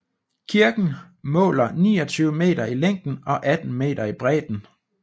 Kirken måler 29 meter i længden og 18 meter i bredden